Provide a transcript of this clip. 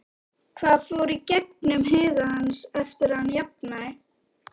Hvað fór í gegnum huga hans eftir að hann jafnaði?